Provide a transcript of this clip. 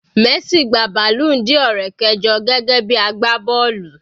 Messi gba balloon Dior rẹ̀ kẹjọ gẹ́gẹ́ bí agbá bọ́ọ̀lù.